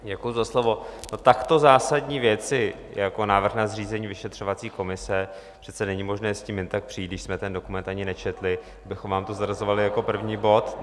Takto zásadní věci jako návrh na zřízení vyšetřovací komise přece není možné s tím jen tak přijít, když jsme ten dokument ani nečetli, abychom vám to zařazovali jako první bod!